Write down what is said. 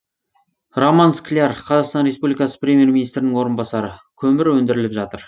роман скляр қазақстан республикасы премьер министрінің орынбасары көмір өндіріліп жатыр